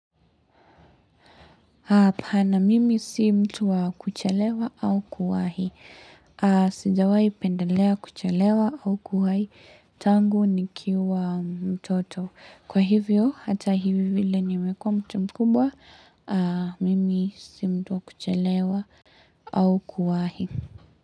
Pana, mimi sii mtu wa kuchelewa au kuwahi. Sijawai pendelea kuchelewa au kuwahi, tangu nikiwa mtoto. Kwa hivyo, hata hivi vile niwekua mtu mkubwa, mimi sii mtu wa kuchalewa au kuwahi.